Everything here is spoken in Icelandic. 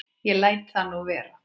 Ég læt það nú vera.